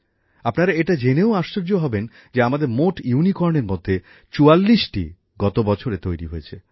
আপনারা এটা জেনেও আশ্চর্য হবেন যে আমাদের মোট ইউনিকর্নের মধ্যে চুয়াল্লিশটি গত বছরে তৈরি হয়েছে